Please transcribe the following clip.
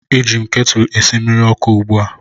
Eji m ketụlụ a esi mmiri ọkụ ugbu a